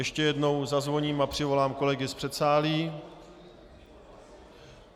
Ještě jednou zazvoním a přivolám kolegy z předsálí.